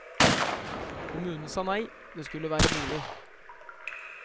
Kommunen sa nei, det skulle være bolig.